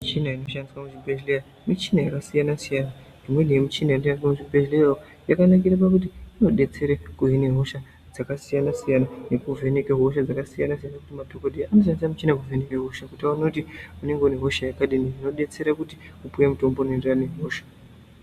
Michina inoshandiswe muchibhedhleya, michina yakasiyana-siyana. Imweni yemichina inoshandiswa muchibhedhleyawo yakanakire pakuti inodetsere kuhine hosha dzakasiyana siyana, nekuvheneke hosha dzakasiyana-siyana. Madhokoteya anoshandisa michina iyi kuvheneke hosha kuti vaone kuti unenge une hosha yakadini, zvobetsera kuti upuwe mutombo unoenderana nehosha.